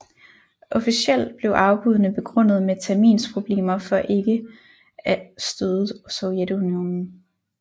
Officielt blev afbuddene begrundet med terminsproblemer for ikke af støde Sovjetunionen